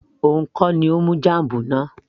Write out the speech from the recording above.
òun kọ́ ni ó mú jam náà